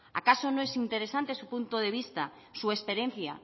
acaso no es interesante su punto de vista su experiencia